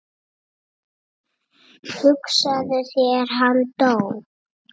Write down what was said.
Hugsaðu þér, hann dó.